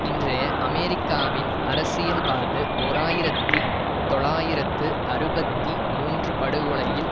இன்றைய அமெரிக்காவின் அரசியல் வாழ்வு ஓர் ஆயிரத்தி தொள்ளாயிரத்து அறுபத்தி மூன்று படுகொலையில்